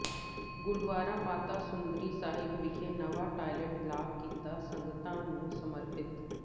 ਗੁਰਦੁਆਰਾ ਮਾਤਾ ਸੁੰਦਰੀ ਸਾਹਿਬ ਵਿਖੇ ਨਵਾਂ toilet block ਕੀਤਾ ਸੰਗਤਾਂ ਨੂੰ ਸਮਰਪਿਤ